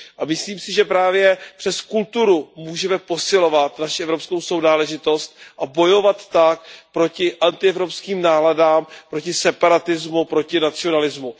Myslím si, že právě přes kulturu můžeme posilovat naši evropskou sounáležitost a bojovat tak proti antievropským náladám, proti separatismu, proti nacionalismu.